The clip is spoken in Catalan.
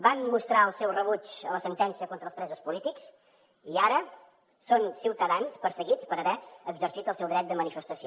van mostrar el seu rebuig a la sentència contra els presos polítics i ara són ciutadans perseguits per haver exercit el seu dret de manifestació